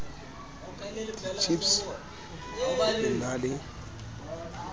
ditjhipse ho e na le